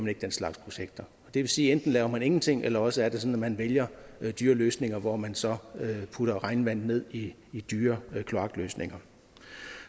den slags projekter det vil sige at enten laver man ingenting eller også er det sådan at man vælger dyre løsninger hvor man så putter regnvand ned i i dyre kloakløsninger